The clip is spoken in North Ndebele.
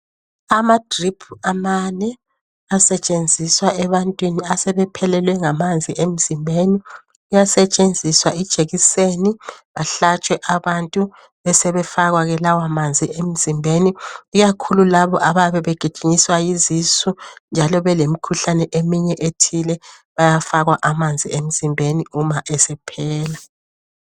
Amadrip amane ,asetshenziswa ebantwini, asebephelelwe ngamanzi emzimbeni. Kuyasetshenziswa ijekiseni. Bahlatshwe abantu. Besebefakwa ke lawamanzi emzimbeni. Ikakhulu labo, abayabe begijinyiswa yizisu, njalo belemikhulane eminye ethile. Bayafakwa amanzi emzimbeni, uma esephela.